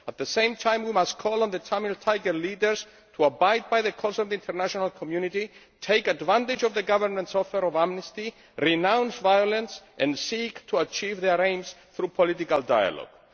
At the same time, we must call on the Tamil Tiger leaders to abide by the calls of the international community, take advantage of the Government's offer of amnesty, renounce violence and seek to achieve their aims through political dialogue.